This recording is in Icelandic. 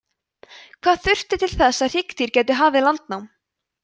hvað þurfti til þess að hryggdýr gætu hafið landnám